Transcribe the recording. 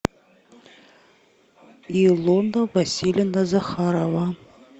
илона васильевна захарова